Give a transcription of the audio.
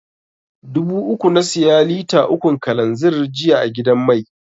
Dubu uku na siya lita ukun kalanzir jiya a gidan mai.